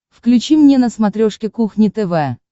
включи мне на смотрешке кухня тв